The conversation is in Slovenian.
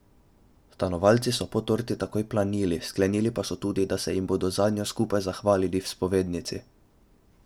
Stanovalci so po torti takoj planili, sklenili pa so tudi, da se jim bodo zanjo skupaj zahvalili v spovednici.